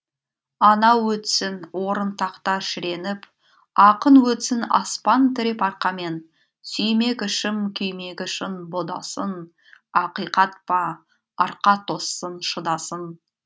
анау өтсін орын тақта шіреніп ақын өтсін аспан тіреп арқамен сүймек ішім күймегі шын бұ да сын ақиқат па арқа тоссын шыдасын